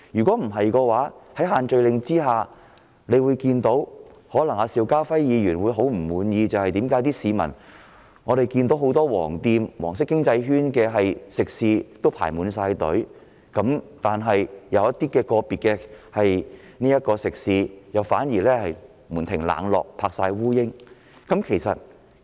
否則，在限聚令下，我們看到的是一種可能令邵家輝議員極感不滿的現象，就是很多屬黃色經濟圈的食肆出現輪候人龍，但某些個別食肆卻門庭冷落沒有生意。